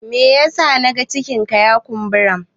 me yasa na ga cikinka ya kumbura?